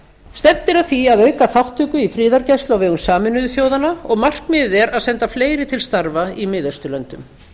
stefnt er að því að auka þátttöku í friðargæslu á vegum sameinuðu þjóðanna og markmiðið er að senda fleiri til starfa í miðausturlöndum